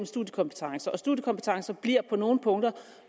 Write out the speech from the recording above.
og studiekompetencer studiekompetencer bliver på nogle punkter